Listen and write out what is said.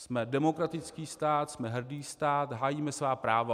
Jsme demokratický stát, jsme hrdý stát, hájíme svá práva...